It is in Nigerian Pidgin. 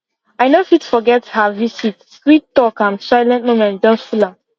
i no fit forget her visit sweet talk and silent moments just full am